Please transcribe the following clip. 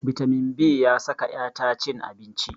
Bitamin b ya saka 'ya ta cin abinci.